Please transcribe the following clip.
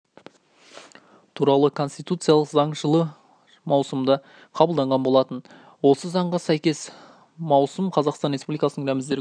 туралы конституциялық заң жылы маусымда қабылданған болатын осы заңға сәйкес маусым қазақстан республикасының рәміздері күні